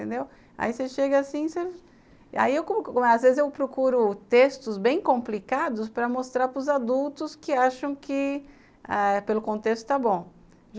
Entendeu, aí você chega assim... Às vezes eu procuro textos bem complicados para mostrar para os adultos que acham que ãh pelo contexto está bom.